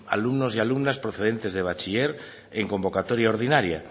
alumnos y alumnas procedentes de bachiller en convocatoria ordinaria